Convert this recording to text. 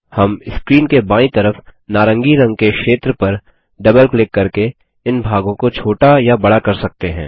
हम स्क्रीन के बायीं तरफ नारंगी रंग के क्षेत्र पर डबल क्लिक करके इन भागों को छोटा या बड़ा कर सकते हैं